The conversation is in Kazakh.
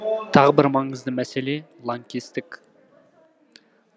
тағы бір маңызды мәселе лаңкестік